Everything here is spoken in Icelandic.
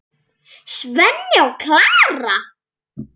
Svenni og Klara!